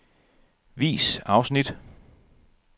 Vis afsnit.